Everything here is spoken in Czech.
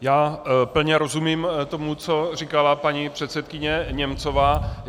Já plně rozumím tomu, co říkala paní předsedkyně Němcová.